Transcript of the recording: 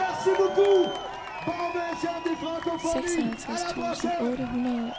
seksoghalvtreds tusind otte hundrede og treogtres